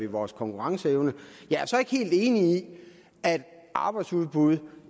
vores konkurrenceevne jeg er så ikke helt enig i at arbejdsudbud